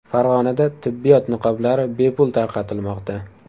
Farg‘onada tibbiyot niqoblari bepul tarqatilmoqda .